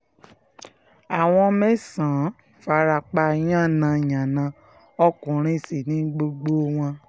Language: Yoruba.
àwọn mẹ́sàn-án fara pa yànnà-yànnà ọkùnrin sí ní gbogbo wọn